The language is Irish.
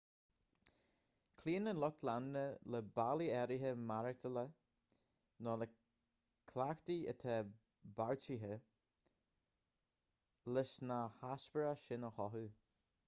cloíonn an lucht leanúna le bealaí áirithe maireachtála nó le cleachtaidh atá beartaithe leis na heispéiris sin a chothú